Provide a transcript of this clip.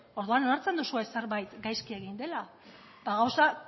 orduan onartzen duzue zerbait gaizki egin dela ba gauzak